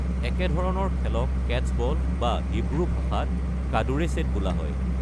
একেধৰণৰ খেলক কেট্চবল বা হিব্ৰু ভাষাত কাদুৰেশ্বেট বোলা হয়।